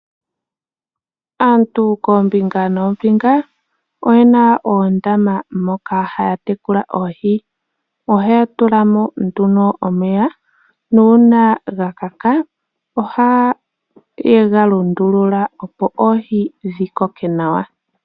Aantu koombinga noombinga oye na oondama moka haya tekula oohi. Ohaya tula mo nduno omeya nuuna ga kaka ohaye ga lundulula, opo oohi dhi koke nawa.